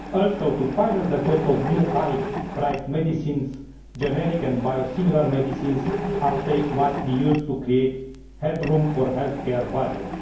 Also, to finance the cost of new high priced medicines, generic and biosimilar medicines, uptake must be used to create headroom for the healthcare budget.